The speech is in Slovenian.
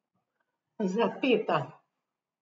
Zapeta.